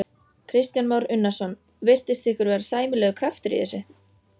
Kristján Már Unnarsson: Virtist ykkur vera sæmilegur kraftur í þessu?